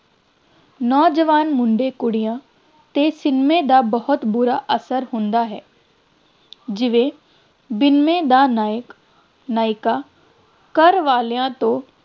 ਨੌਜਵਾਨ ਮੁੰਡੇ ਕੁੜੀਆਂ 'ਤੇ ਸਿਨੇਮੇ ਦਾ ਬਹੁਤ ਬੁਰਾ ਅਸਰ ਹੁੰਦਾ ਹੈ ਜਿਵੇਂ ਦਾ ਨਾਇਕ ਨਾਇਕਾ ਘਰਵਾਲਿਆਂ ਤੋਂ